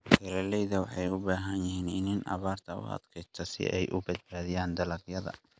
Beeralayda waxay u baahan yihiin iniin abaarta u adkaysta si ay u badbaadiyaan dalagyada.